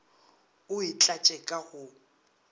o e tlatše ka go